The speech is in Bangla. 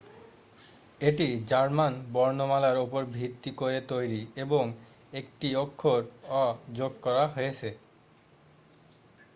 "এটি জার্মান বর্ণমালার ওপর ভিত্তি করে তৈরি এবং একটি অক্ষর "õ/õ" যোগ করা হয়েছে।